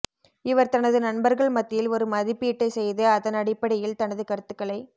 இவர் தனது நண்பர்கள் மத்தியில் ஒரு மதிப்பீட்டைச் செய்து அதனடிப்படையில் தனது கருத்துகளை